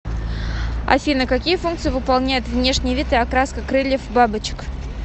афина какие функции выполняют внешний вид и окраска крыльев бабочек